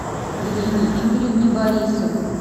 ирине игоревне борисовой